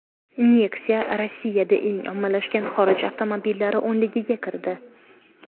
Nexia Rossiyada eng ommalashgan xorij avtomobillari o‘nligiga kirdi.